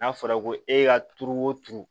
N'a fɔra ko e y'a turu o turu